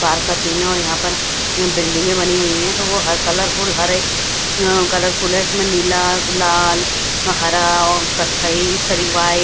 बाहर का सीन है और यहां पर बिल्डिंगे बनी हुई है तो वह कलरफुल हर एक कलरफुल है इसमें नीला लाल हरा कत्थई इस तरीके वाइट --